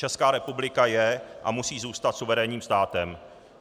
Česká republika je a musí zůstat suverénním státem.